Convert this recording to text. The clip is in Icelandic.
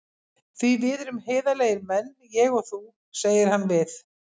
Því við erum heiðarlegir menn, ég og þú, segir hann við